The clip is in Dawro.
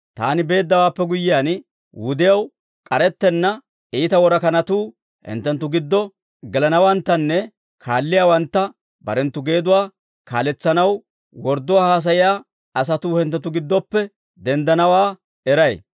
Taani beeddawaappe guyyiyaan, wudiyaw k'arettenna iita worakanatuu hinttenttu giddo gelanawanttanne, kaalliyaawantta barenttu geeduwaa kaaletsanaw wordduwaa haasayiyaa asatuu hinttenttu giddoppe denddanawaa eray.